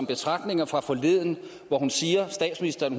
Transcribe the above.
betragtninger fra forleden hvor statsministeren